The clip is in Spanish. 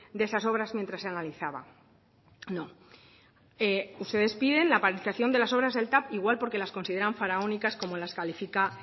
de esas obras mientras se analizaba no ustedes piden la paralización de las obras del tav igual porque las consideran faraónicas como las califica